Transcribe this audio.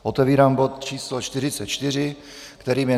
Otevírám bod číslo 44, kterým je